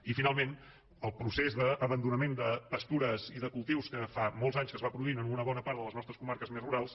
i finalment el procés d’abandonament de pastures i de cultius que fa molts anys que es va produint en una bona part de les nostres comarques més rurals